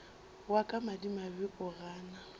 wa ka madimabe o gana